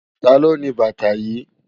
Táló ni bàtá yi?